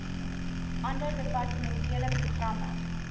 ander departementele programme